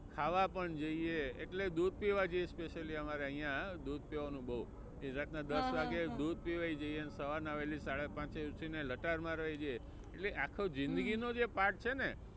ખાવા પણ જઇએ એટલે દૂધ પીવા જઇએ specially અમારે અહીંયા દૂધ પીવાનું બહુ. રાતના દસ વાગે દૂધ પીવાય જઇએ ને સવાર નાં વહેલી સાડા પાંચે ઊઠીને લટાર મારવાય જઇએ એટલે આખી જિંદગી નો જે part છે ને